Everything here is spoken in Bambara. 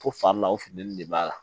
Ko fari la o funtɛni de b'a la